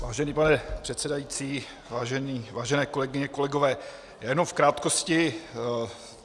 Vážený pane předsedající, vážené kolegyně, kolegové, jenom v krátkosti.